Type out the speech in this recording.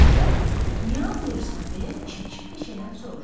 O, niyə ağlayırsan deyə çilçil beçədən soruşur.